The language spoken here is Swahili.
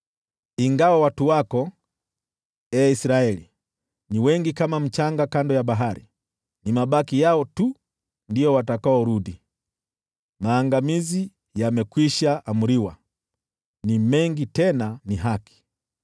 Ingawa watu wako, ee Israeli, ni wengi kama mchanga wa pwani, ni mabaki yao tu watakaorudi. Maangamizi yamekwisha amriwa, ni mengi tena ni haki.